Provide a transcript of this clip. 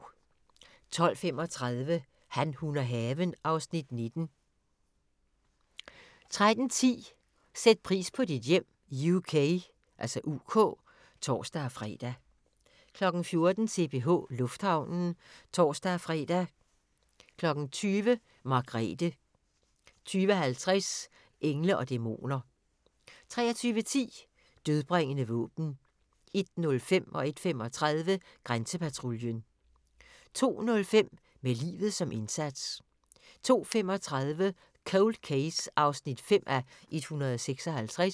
12:35: Han, hun og haven (Afs. 19) 13:10: Sæt pris på dit hjem UK (tor-fre) 14:00: CPH Lufthavnen (tor-fre) 20:00: Margrethe 20:50: Engle & Dæmoner 23:10: Dødbringende våben 01:05: Grænsepatruljen 01:35: Grænsepatruljen 02:05: Med livet som indsats 02:35: Cold Case (5:156)